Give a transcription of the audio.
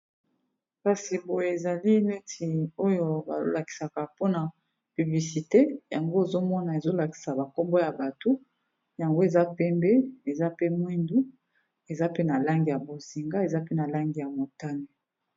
kasi boye ezali neti oyo bazolakisa publiciter ya mokonzi ya mboka Denis Sassou Ngweso . Pancarte yango Eza na ba langi ya pembe, bozinga, moindo, motane.